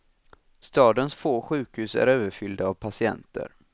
Stadens få sjukhus är överfyllda av patienter.